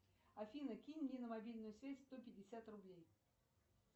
афина кинь мне на мобильную связь сто пятьдесят рублей